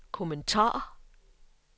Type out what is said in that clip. kommentar